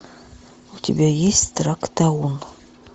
у тебя есть трактаон